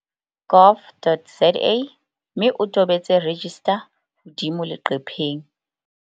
gov.za mme o tobetse 'register' hodimo leqepheng.